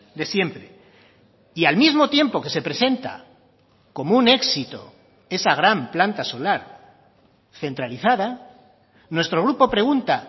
de siempre y al mismo tiempo que se presenta como un éxito esa gran planta solar centralizada nuestro grupo pregunta